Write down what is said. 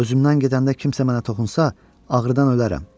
Özümdən gedəndə kimsə mənə toxunsa, ağrıdan ölərəm.